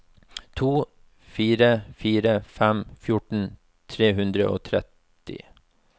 to fire fire fem fjorten tre hundre og tretti